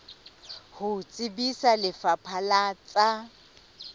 ho tsebisa lefapha la tsa